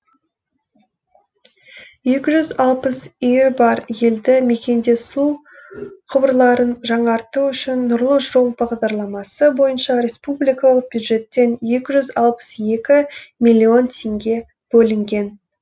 екі жүз алпыс үйі бар елді мекенде су құбырларын жаңарту үшін нұрлы жол бағдарламасы бойынша республикалық бюджеттен екі жүз алпыс екі миллион теңге бөлінген